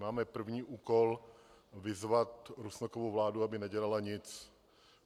Máme první úkol vyzvat Rusnokovu vládu, aby nedělala nic.